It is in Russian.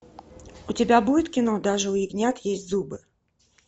у тебя будет кино даже у ягнят есть зубы